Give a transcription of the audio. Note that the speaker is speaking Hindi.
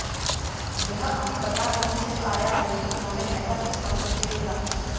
यह अभी पता नहीं चल पाया है कि उन्होंने ऐसा किस मकसद से किया